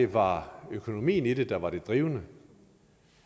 var økonomien i det der var det drivende